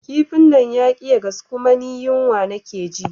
kifin nan yaƙi ya gasu kuma ni yunwa nake ji